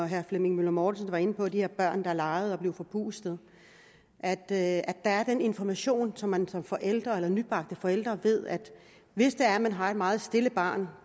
herre flemming møller mortensen var inde på de her børn der legede og blev forpustede at at der er den information så man som forælder eller nybagt forælder ved at hvis det er man har et meget stille barn